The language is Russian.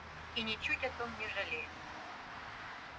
и ни чуть о том не жалею